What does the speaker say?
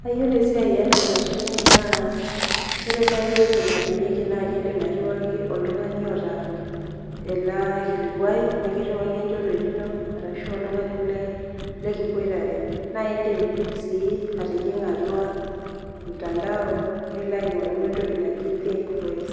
Kayiolo esiai enamashini naa ore nai uwoi naidimieki oltungani oata enakilikuai nikiriwaki enchoruet ino arashu oltungani lekiboitare na ekindimsi atijinga atua ormutandao nilo aingoru entoki naji think voice